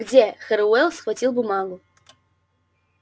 где херроуэй схватил бумагу